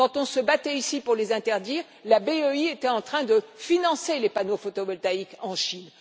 quand on se battait ici pour les interdire, la BEI était en train de financer les panneaux photovoltaïques en Chine.